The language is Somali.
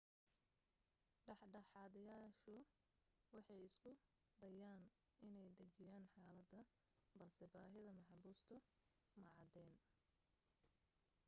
dhexdhexaadiyayaashu waxay isku dayeen inay dajiyaan xaaladda balse baahida maxaabiistu ma caddayn